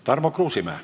Tarmo Kruusimäe.